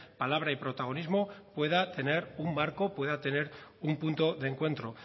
palabra y protagonismo pueda tener un marco pueda tener un punto de encuentro